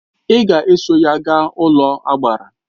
Ị ga eso ya gaa n'ụlọagbara!